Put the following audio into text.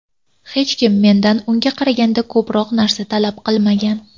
Hech kim mendan unga qaraganda ko‘proq narsa talab qilmagan.